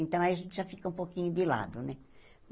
Então, aí a gente já fica um pouquinho de lado, né?